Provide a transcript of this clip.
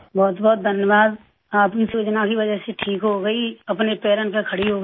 बहुत धन्यवाद आपकी योजना की वजह से ठीक हो गई अपने पैरों पर खड़ी हो गई